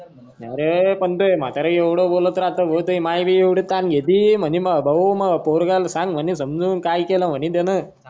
आरे पण तोय म्हातार एवढ बोलत राहत तोयी म्हातारी भी एवढी तान घेती म्हणे मा भाऊ मा पोरगा सांग म्हणे समजून की केल म्हणे त्यान.